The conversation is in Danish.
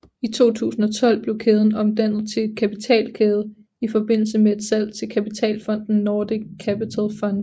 I 2012 blev kæden omdannet til en kapitalkæde i forbindelse med et salg til kapitalfonden Nordic Capital Fund